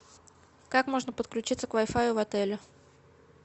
как можно подключиться к вай фаю в отеле